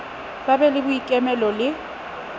ba be le boikemelo le